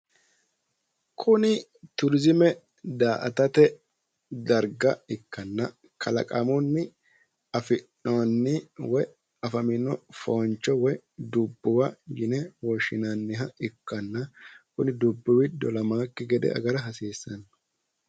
kuni turiizime daa'atate dargga ikkanna kalaqamunni afi'noonni woy afamino fooncho woyi dubbuwa yine woshshinanniha ikkanna kuni dubbuwi dolamaakki gede agara hasiissanno.